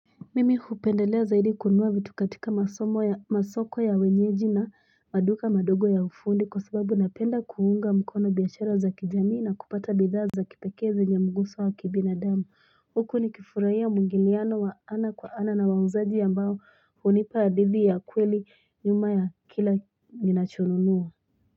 Mimi hupendelea zaidi kununua vitu katika masoko ya wenyeji na maduka madogo ya ufundi kwa sababu napenda kuunga mkono biashara za kijamii na kupata bidhaza za kipekee zenye muguso wa kibinadamu huku nikifurahia mwingiliano wa ana kwa ana na wauzaji ambao hunipa adithi ya kweli nyuma ya kila ninachonunua.